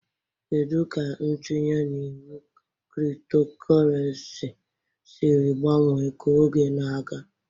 Kedu ka ntinye na iwu cryptocurrency siri gbanwee ka oge na-aga?